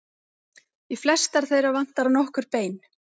Í flestar þeirra vantar nokkur bein.